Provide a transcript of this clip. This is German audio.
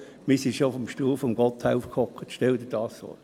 Wir sassen schon auf dem Stuhl von Gotthelf, stell dir das vor!